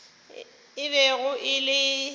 e bego e le ya